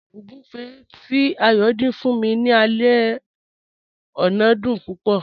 Ọ̀gúnfẹ̀ tí Ayọ́ dín fún mí ní àlẹ̀ ọ̀nà dún púpọ̀.